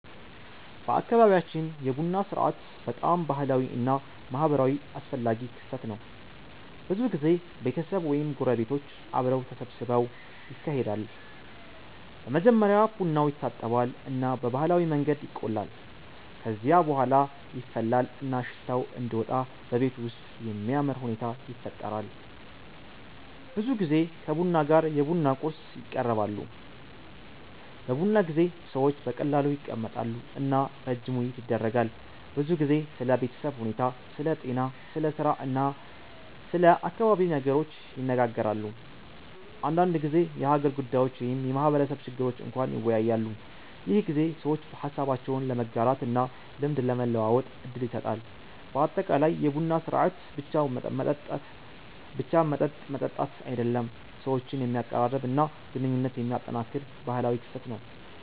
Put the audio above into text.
በአካባቢያችን የቡና ሥርዓት በጣም ባህላዊ እና ማህበራዊ አስፈላጊ ክስተት ነው። ብዙ ጊዜ ቤተሰብ ወይም ጎረቤቶች አብረው ተሰብስበው ይካሄዳል። በመጀመሪያ ቡናው ይታጠባል እና በባህላዊ መንገድ ይቆላል። ከዚያ በኋላ ይፈላል እና ሽታው እንዲወጣ በቤቱ ውስጥ የሚያምር ሁኔታ ይፈጠራል። ብዙ ጊዜ ከቡና ጋር የቡና ቁርስ ይቀርባሉ። በቡና ጊዜ ሰዎች በቀላሉ ይቀመጣሉ እና ረጅም ውይይት ይደረጋል። ብዙ ጊዜ ስለ ቤተሰብ ሁኔታ፣ ስለ ጤና፣ ስለ ስራ እና ስለ አካባቢ ነገሮች ይነጋገራሉ። አንዳንድ ጊዜ የሀገር ጉዳዮች ወይም የማህበረሰብ ችግር እንኳን ይወያያሉ። ይህ ጊዜ ሰዎች ሀሳባቸውን ለመጋራት እና ልምድ ለመለዋወጥ እድል ይሰጣል። በአጠቃላይ የቡና ሥርዓት ብቻ መጠጥ መጠጣት አይደለም፣ ሰዎችን የሚያቀራርብ እና ግንኙነት የሚያጠናክር ባህላዊ ክስተት ነው።